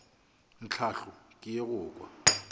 tlhahlo ke ye go kwa